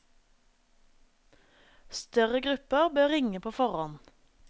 Større grupper bør ringe på forhånd.